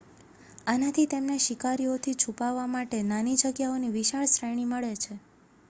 આનાથી તેમને શિકારીઓથી છુપાવા માટે નાની જગ્યાઓની વિશાળ શ્રેણી મળે છે